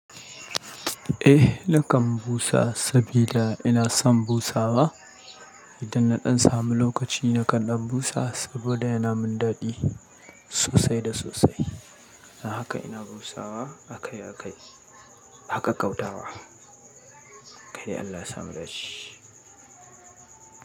Eh, nakan busa sabida ina son busawa. Idan na ɗan samu lokaci nakan ɗan busa saboda yana min daɗi, sosai da sosai. A haka ina busawa akai-akai, haka kau tawa. Kai dai Allah ya sa mu da ce.